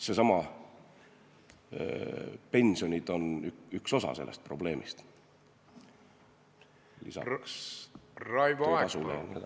Seesama, pensionid on üks osa sellest probleemist, peale selle töötasu jne.